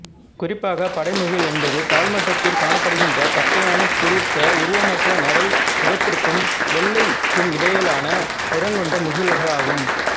குறிப்பாக படைமுகில் என்பது தாழ்மட்டத்தில் காணப்படுகின்ற தட்டையான குறித்த உருவமற்ற நரை நிறத்திற்கும் வெள்ளைக்குமிடையிலான நிறங்கொண்ட முகில்களாகும்